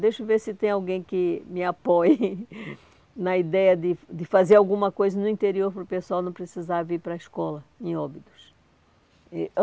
Deixa eu ver se tem alguém que me apoie na ideia de de fazer alguma coisa no interior para o pessoal não precisar vir para a escola em Óbidos. E